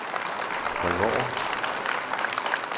spring over